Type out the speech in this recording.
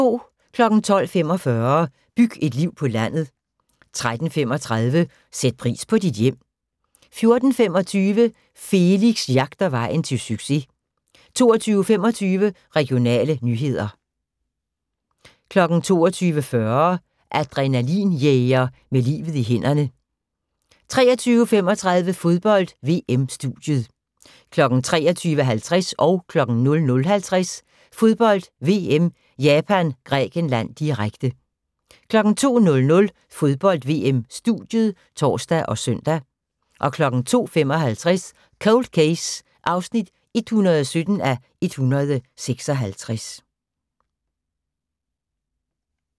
12:45: Byg et liv på landet 13:35: Sæt pris på dit hjem 14:25: Felix jagter vejen til succes 22:25: Regionale nyheder 22:40: Adrenalin-jæger med livet i hænderne 23:35: Fodbold: VM - studiet 23:50: Fodbold: VM - Japan-Grækenland, direkte 00:50: Fodbold: VM - Japan-Grækenland, direkte 02:00: Fodbold: VM - studiet (tor og søn) 02:55: Cold Case (117:156)